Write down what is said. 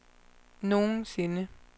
nogensinde